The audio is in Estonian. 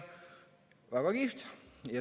" Väga kihvt.